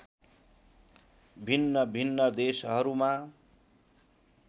भिन्नभिन्न देशहरूमा